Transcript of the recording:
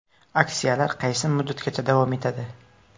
Aksiyalar qaysi muddatgacha davom etadi?